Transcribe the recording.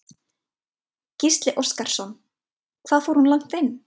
Gísli Óskarsson: Hvað fór hún langt inn?